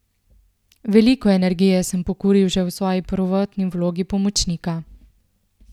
Veliko energije sem pokuril že v svoji prvotni vlogi pomočnika.